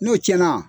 N'o cɛn na